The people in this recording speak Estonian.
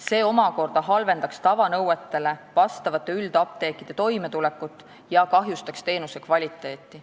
See omakorda halvendaks tavanõuetele vastavate üldapteekide toimetulekut ja kahjustaks teenuse kvaliteeti.